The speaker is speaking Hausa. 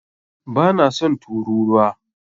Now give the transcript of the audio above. Bana son turūruwa.